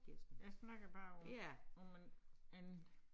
Jeg snakker bare om om en en